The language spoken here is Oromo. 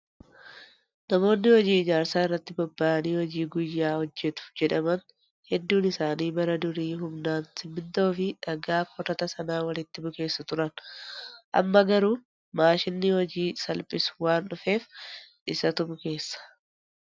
Namoonni hojii ijaarsaa irratti bobba'anii hojii guyyaa hojjatu jedhaman hedduun isaanii bara durii humnaan simmintoo fi dhagaa korata sana walitti bukeessu turan. Amma garuu maashinni hojii salphisu waan dhufeef isatuu bukeessa.